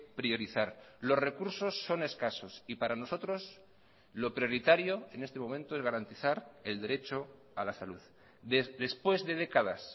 priorizar los recursos son escasos y para nosotros lo prioritario en este momento es garantizar el derecho a la salud después de décadas